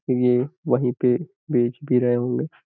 ये वहीं पे बेच भी रहे होंगे।